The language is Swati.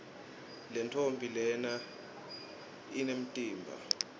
lentfombi lena jnemtimba